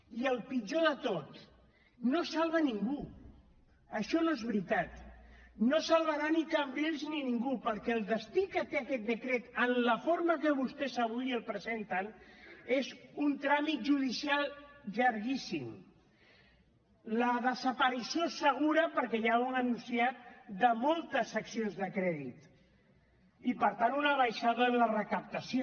i el pitjor de tot no es salva ningú això no és veritat no es salvarà ni cambrils ni ningú perquè el destí que té aquest decret en la forma que vostès avui el presenten és un tràmit judicial llarguíssim la desaparició segura perquè ja ho han anunciat de moltes seccions de crèdit i per tant una baixada en la recaptació